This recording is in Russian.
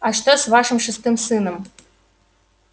а что с вашим шестым сыном